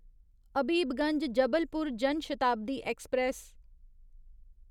Habibganj Jabalpur Jan Shatabdi express